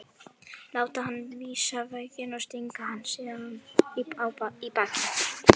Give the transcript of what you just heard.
Láta hann vísa veginn og stinga hann síðan í bakið?